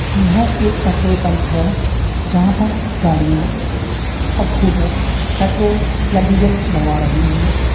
एह एक petrol pump है जहां पर गाड़ियां और स्कूटार पेट्रोल या डीजल भरवा रहि है।